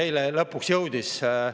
Eile lõpuks jõudis.